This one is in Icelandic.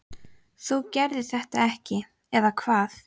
þú gerðir þetta ekki, eða hvað?